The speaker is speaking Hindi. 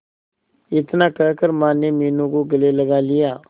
इतना कहकर माने मीनू को गले लगा लिया